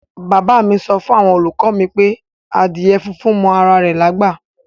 Bab mi wifun awon oluko mi pe adíè fúnfún mọ ara rè lágbá.